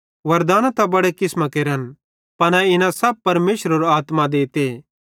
वरदाना त बड़े किसमां केरन पन इना सब परमेशरेरो आत्मा देते